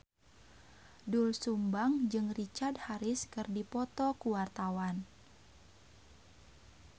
Doel Sumbang jeung Richard Harris keur dipoto ku wartawan